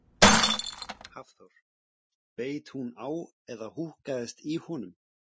Hafþór: Beit hún á eða húkkaðist í honum?